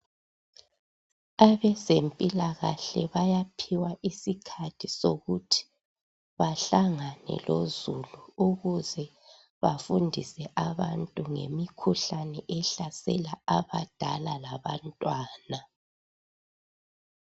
Abezempilakahle bayaphiwa isikhathi sokuthi bahlangane lozulu ukuze bafundise abantu ngemikhuhlane ehlasela abadala labantwana.